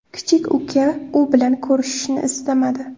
Kichik uka u bilan ko‘rishishni istamadi.